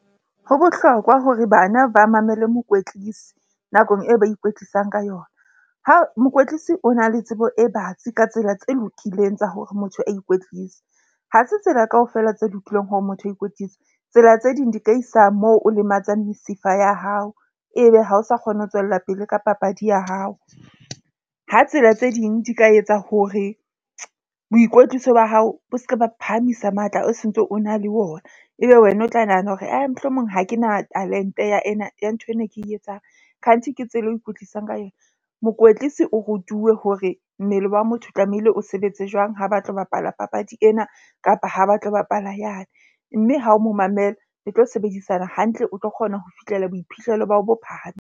Ho bohlokwa hore bana ba mamele mokwetlisi nakong e ba ikwetlisang ka yona. Ha mokwetlisi o na le tsebo e batsi ka tsela tse lokileng tsa hore motho a ikwetlise. Ha se tsela kaofela tse lokileng hore motho a ikwetlise. Tsela tse ding di ka isa moo, o lematsang mesifa ya hao ebe ha o sa kgone ho tswella pele ka papadi ya hao. Ha tsela tse ding di ka etsa hore boikwetliso ba hao bo se ke ba phahamisa matla o sontso o na le wona, ebe wena o tla nahana hore ae, mohlomong ha ke na talent-e ya ena ya nthwena ke e etsang. Khanti ke tsela eo ikwetlisang ka yona. Mokwetlisi o rutuwe hore mmele wa motho o tlamehile o sebetse jwang. Ha ba tlo bapala papadi ena kapa ha ba tlo bapala yane. Mme ha o mo mamela le tlo sebedisana hantle, o tlo kgona ho fihlela boiphihlelo ba hao bo .